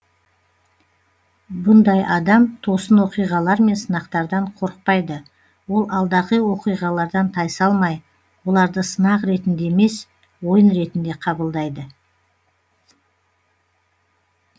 бұндай адам тосын оқиғалар мен сынақтардан қорықпайды ол алдағы оқиғалардан тайсалмай оларды сынақ ретінде емес ойын ретінде қабылдайды